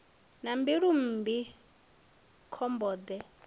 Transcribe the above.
na mbilu mmbi khomba de